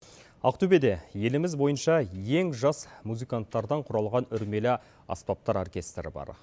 ақтөбеде еліміз бойынша ең жас музыканттардан құралған үрмелі аспаптар оркестрі бар